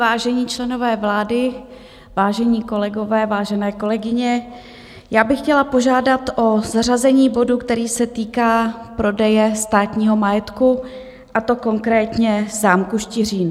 Vážení členové vlády, vážení kolegové, vážené kolegyně, já bych chtěla požádat o zařazení bodu, který se týká prodeje státního majetku, a to konkrétně zámku Štiřín.